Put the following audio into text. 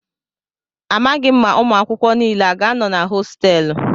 Amaghị m ma ụmụ akwụkwọ niile a ga-anọ na hostéélu